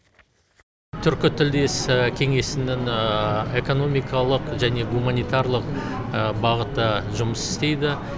түркітілдес кеңесінің экономикалық және гуманитарлық бағыты жұмыс істейді